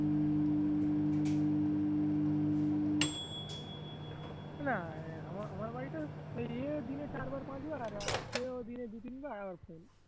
না আ আমার বাড়িতে ওই ইয়ে দিলে চারবার পাঁচবার আর সে ও দিনে দু তিনবার